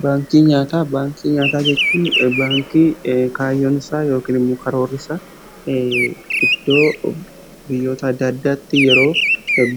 Baankii nyaataa jechuun baankii kaayyoon isaa yookiin immoo karoorri isaa iddoo biyyoota adda addaatti yeroo